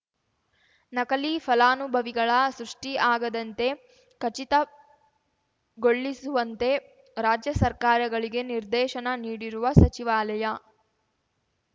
ನಕಲಿ ಫಲಾನುಭವಿಗಳ ಸೃಷ್ಟಿಆಗದಂತೆ ಖಚಿತಗೊಳ್ಳಿಸುವಂತೆ ರಾಜ್ಯ ಸರ್ಕಾರಗಳಿಗೆ ನಿರ್ದೇಶನ ನೀಡಿರುವ ಸಚಿವಾಲಯ